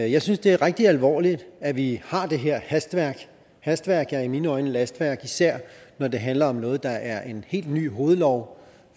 i jeg synes det er rigtig alvorligt at vi har det her hastværk hastværk er i mine øjne lastværk især når det handler om noget der er en helt ny hovedlov